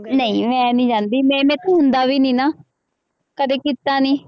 ਨਹੀਂ ਮੈਂ ਨੀ ਜਾਂਦੀ, ਮੇਰੇ ਤੋਂ ਹੁੰਦਾ ਵੀ ਨੀ ਨਾ, ਕਦੇ ਕੀਤਾ ਨੀ।